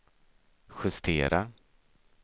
justera